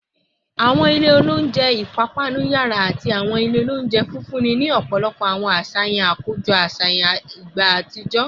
Awọn ilẹ ounjẹ ipapanu yara ati awọn ile ounjẹ nfunni ni ọpọlọpọ awọn aṣayan akojọ aṣayan ni igba atijọ